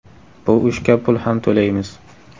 Bu ishga pul ham to‘laymiz.